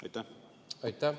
Aitäh!